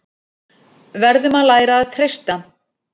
Verðum að læra að treysta